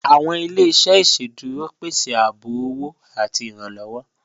Awọn ilẹ̀-iṣẹ̀ iṣẹ́dúró pẹ̀sẹ ààbò ọwọ̀ àti ìrànlowọ